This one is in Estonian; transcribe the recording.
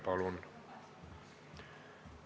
Palun!